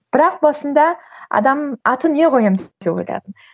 бірақ басында адам атын не қоямын деп те ойладым